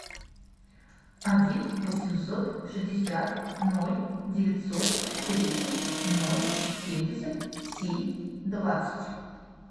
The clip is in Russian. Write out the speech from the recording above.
один восемьсот шестьдесят ноль девятьсот тридцать ноль семьдесят семь двадцать